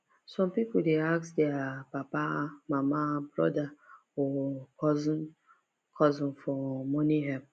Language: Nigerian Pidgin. some people dey ask their papa mama brother or cousin cousin for money help